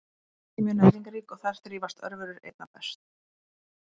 Mjólk er mjög næringarrík og þar þrífast örverur einna best.